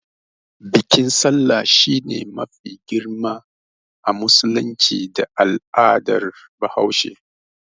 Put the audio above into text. Bikin sallah shine biki mafi girma a musulunci da al'adar bahaushe.